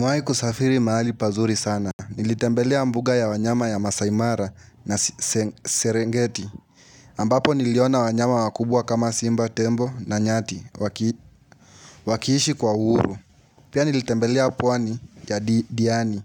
Nimewai kusafiri mahali pazuri sana, nilitembelea mbuga ya wanyama ya Masai mara na Serengeti ambapo niliona wanyama wakubwa kama Simba Tembo na Nyati wakiishi kwa uhuru Pia nilitembelea pwani ya Diani